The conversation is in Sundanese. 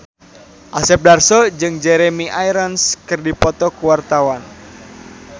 Asep Darso jeung Jeremy Irons keur dipoto ku wartawan